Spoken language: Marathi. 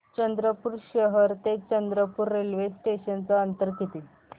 चंद्रपूर शहर ते चंद्रपुर रेल्वे स्टेशनचं अंतर किती